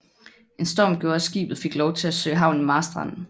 En storm gjorde at skibet fik lov at søge havn i Marstrand